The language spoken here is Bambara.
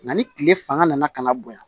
Nka ni tile fanga nana ka na bonya